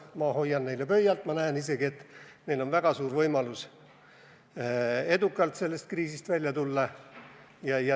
Ma hoian neile pöialt ja ma näen isegi, et neil on väga suur võimalus edukalt sellest kriisist välja tulla.